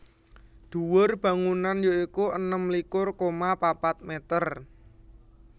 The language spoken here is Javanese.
Dhuwur bangunan ya iku enem likur koma papat mèter